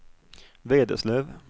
Vederslöv